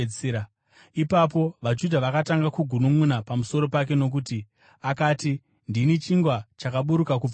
Ipapo, vaJudha vakatanga kugununʼuna pamusoro pake nokuti akati, “Ndini chingwa chakaburuka kubva kudenga.”